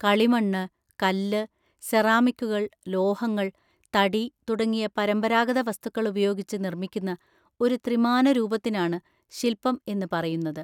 കളിമണ്ണ്, കല്ല്, സെറാമിക്കുകൾ, ലോഹങ്ങൾ, തടി തുടങ്ങിയ പരമ്പരാഗത വസ്തുക്കൾ ഉപയോഗിച്ച് നിർമിക്കുന്ന ഒരു ത്രിമാന രൂപത്തിനാണ് ശിൽപം എന്ന് പറയുന്നത്?